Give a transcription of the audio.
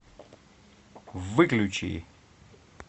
выключи